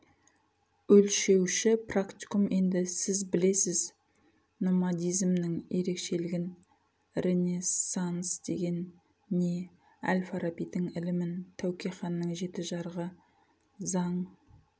өлшеуші практикум енді сіз білесіз номадизмнің ерекшелігін ренессанс деген не әл-фарабидің ілімін тәуке ханның жеті жарғы заң